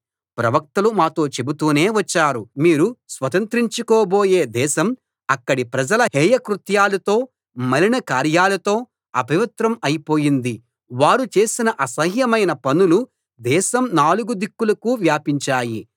ప్రవక్తలు మాతో చెబుతూనే వచ్చారుమీరు స్వతంత్రించుకోబోయే దేశం అక్కడి ప్రజల హేయ కృత్యాలతో మలినకార్యాలతో అపవిత్రం అయిపోయింది వారు చేసిన అసహ్యమైన పనులు దేశం నాలుగు దిక్కులకు వ్యాపించాయి